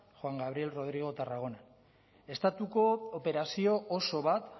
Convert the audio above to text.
juan gabriel rodrigo tarragonan estatuko operazio oso bat